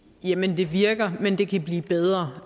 jamen det virker men det kan blive bedre